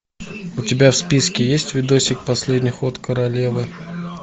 у тебя в списке есть видосик последний ход королевы